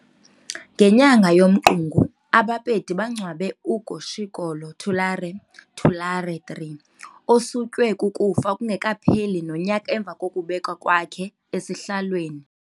Ngenyanga yoMqungu, aBapedi bangcwabe uKgoshikgolo Thulare Thulare III, osutywe kukufa kungekapheli nonyaka emva kokubekwa kwakhe esihlalweni.